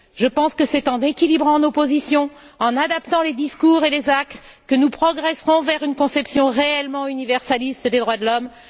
Je pense que c'est en équilibrant nos positions, en adaptant les discours et les actes que nous progresserons vers une conception réellement universaliste des droits de l'homme.